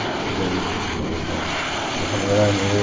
E daí veio para... Minha família era meio...